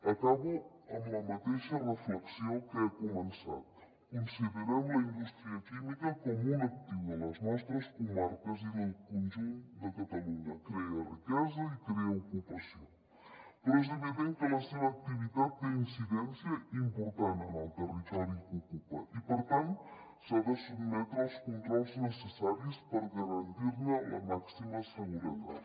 acabo amb la mateixa reflexió amb què he començat considerem la indústria química com un actiu de les nostres comarques i del conjunt de catalunya crea riquesa i crea ocupació però és evident que la seva activitat té una incidència important en el territori que ocupa i per tant s’ha de sotmetre als controls necessaris per garantir ne la màxima seguretat